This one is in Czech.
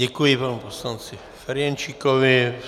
Děkuji panu poslanci Ferjenčíkovi.